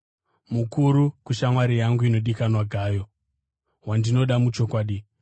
Mukuru, kushamwari yangu inodikanwa Gayo, wandinoda muchokwadi.